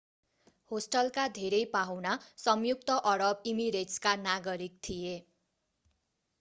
होस्टलका धेरै पाहुना संयुक्त अरब इमिरेट्सका नागरिक थिए